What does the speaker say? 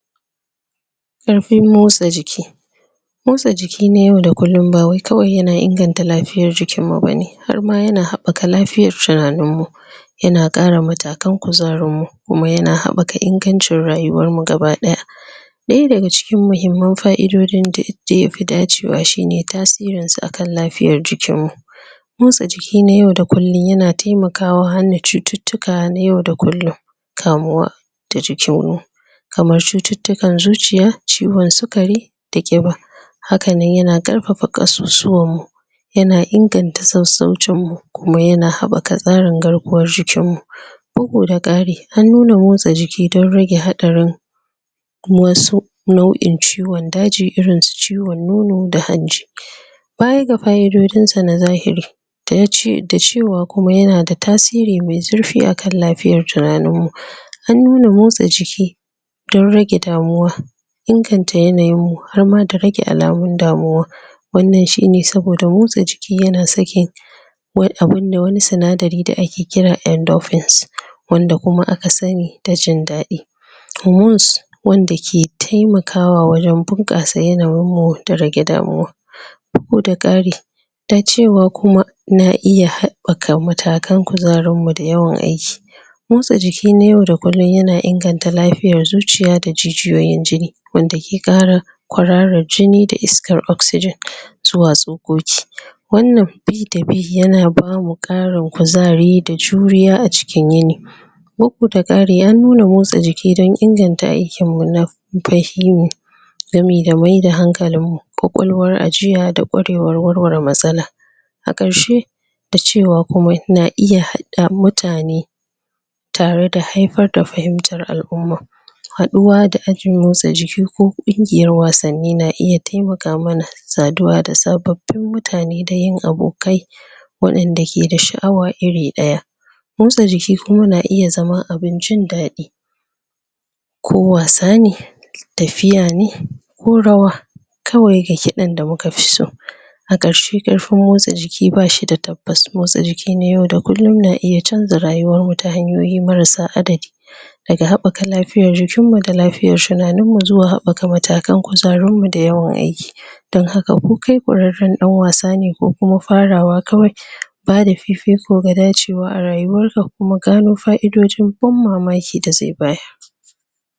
Karfin motsa jiki motsa jiki na yau da kullum ba wai kawai ya na ingantar lafiyar jikin mu bane har ma ya na haɓaka lafiyar tunanin mu ya na kare mutakan kuzarin mu kuma ya na haɓaka ingancir rayuwar mu gabadaya daya da ga cikin mahimman faidodin da da ya fi dacewa shi ne tasiran su a kan lafiyar jikin mu motsa jiki na yau da kullum ya na taimakawa hana cututuka na yau da kullum. Kamuwa kamar cututukar zuciya ciwon sukari da kiba. Haka ne ya na karfafa kasuwan mu ya na inganta sausaucin mu kuma ya na haɓaka tsarin garkuwar jikin mu uku da kari, an nuna motsa jikin dan rage haɗarin ma wasu nauyin ciwon daji, irin su ciwon nunu da hajji Baya ga faiodin sa na zahiri da ya ce, da cewa kuma yana da tasiri, mai zurfi a kan lafiyar tunanin mu an nuna motsa jiki, dan rage damuwa inganta yanayin mu har ma da rage alamun damuwa wannan shi ne saboda motsa jiki ya na sake wai abunda wani tsanadari da ake kira endofins wanda kuma a ka sani da jindadi hormones wanda ke taimakawa wajen bunkasayin yana rin mu da rage damuwa ko da kari, ta cewa kuma na iya haɓaka mutakan kuzarin mu da yawan aiki motsa jiki na yau da kullum ya na inganta lafiyar zuciya da jijiyoyin jini wanda ke kara, kurara jini da iskar oxygin zuwa tsokoki, wannan bi da bi ya na ba mu karin kuzari da juriya a cikin yini da kari an nuna motsa jiki dan inganta aikin mun nan gamai-gamai da hankalin mu kwakwalwar ajiya da kwarewan warwaren matsala a karshe da cewa kuma na iya hada mutane tare da haifar da fahimtar alumma haduwa da ajin motsa jiki ko kungiyar wasani na iya taimaka mana saduwa da sabbobin mutane da yin abokai wadanda ke da shaawa iri daya motsa jiki kuma na iya zama abun jindadi ko wasa ne, tafiya ne ko rawa, kawai da ke dan da mu ka fi so a karshe, karfin motsa jiki ba shi da tabbas motsa jiki ne yau da kullum na iya canza rayuwar wata hanyoyi marasa adali da ga haɓaka lafiyar jikin mu da lafiyar shunanin mu zuwa haɓaka mutakan kuzarin mu da yawan aiki. Dan haka ko kai ba kureren dan wasa ne ko kuma farawa kawai ba da fifi ko ga dacewa a rayuwar ka kuma gano faidojin ban mamaki da zai bayar.